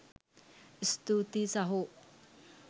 ස්තුතියි සහෝ..